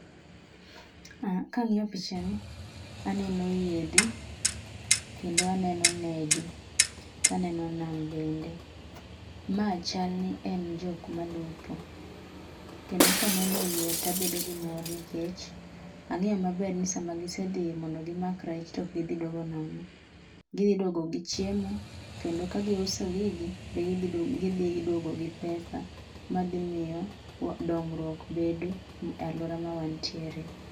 Kang'iyo pichani aneno yiedhi, kendo aneno nede, to aneno nam bende. Ma chal ni en jok malupo, kendo ka aneno yie to abedo gi ,mor nikech ang'eyo maber nisama gisedhi mondo gimak rech to ok gidhi duogo nono. Gidhi duogo gichiemo, kendo ka giuso gigi to gidhi duogo gi pesa madhi miyo dongruok bedo e aluora ma wantiere.